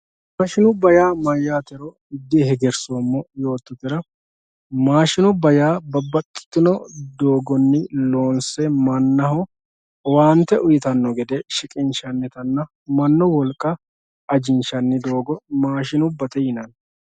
Maashinubba maatiro dihegersoommo yoottotera maashinubba yaa babbaxxitino doogonni loonse mannaho owaante uyittano gede shiqqinshannittanna mannu wolqa ajinshanni doogo maashinubbate yinanni.